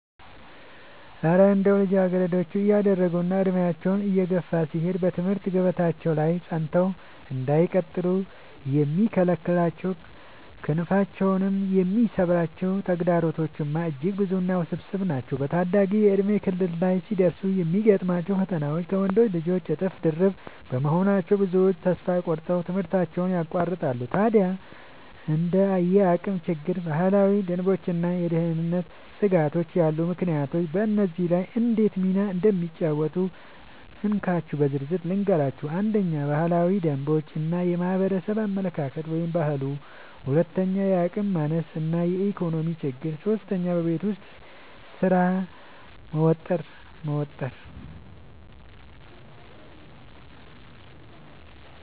እረ እንደው ልጃገረዶች እያደጉና ዕድሜያቸው እየገፋ ሲሄድ በትምህርት ገበታቸው ላይ ጸንተው እንዳይቀጥሉ የሚከለክሏቸውና ክንፋቸውን የሚሰብሯቸው ተግዳሮቶችማ እጅግ ብዙና ውስብስብ ናቸው! በታዳጊነት የእድሜ ክልል ላይ ሲደርሱ የሚገጥሟቸው ፈተናዎች ከወንዶች ልጆች እጥፍ ድርብ በመሆናቸው፣ ብዙዎቹ ተስፋ ቆርጠው ትምህርታቸውን ያቋርጣሉ። ታዲያ እንደ የአቅም ችግር፣ ባህላዊ ደንቦችና የደህንነት ስጋቶች ያሉ ምክንያቶች በዚህ ላይ እንዴት ሚና እንደሚጫወቱ እንካችሁ በዝርዝር ልንገራችሁ፦ 1. ባህላዊ ደንቦች እና የማህበረሰብ አመለካከት (ባህሉ) 2. የአቅም ማነስ እና የኢኮኖሚ ችግር 3. በቤት ውስጥ ስራ መወጠር መወጠር